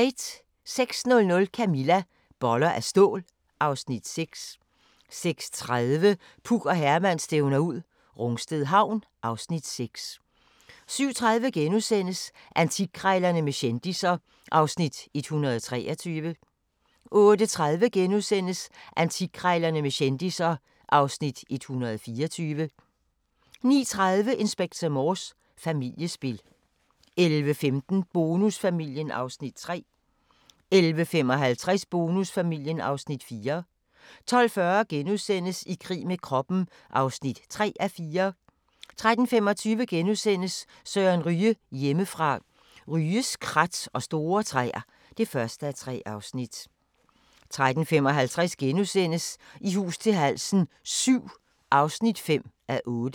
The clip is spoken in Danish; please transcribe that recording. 06:00: Camilla - Boller af stål (Afs. 6) 06:30: Puk og Herman stævner ud - Rungsted Havn (Afs. 6) 07:30: Antikkrejlerne med kendisser (Afs. 123)* 08:30: Antikkrejlerne med kendisser (Afs. 124)* 09:30: Inspector Morse: Familiespil 11:15: Bonusfamilien (Afs. 3) 11:55: Bonusfamilien (Afs. 4) 12:40: I krig med kroppen (3:4)* 13:25: Søren Ryge: Hjemmefra – Ryges krat og store træer (1:3)* 13:55: I hus til halsen VII (5:8)*